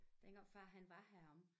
Dengang far han var heromme